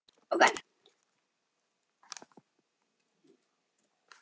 Hún pírir á mig augun.